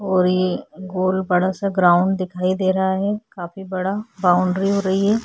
और ये गोल बड़ा सा ग्राउंड दिखाई दे रहा है काफी बड़ा बाउंड्री हो रही है।